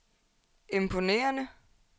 imponerende